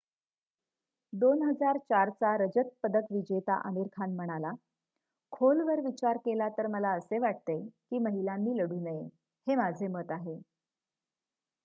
2004 चा रजत पदक विजेता आमिर खान म्हणाला खोलवर विचार केला तर मला असे वाटते कि महिलांनी लढू नये हे माझे मत आहे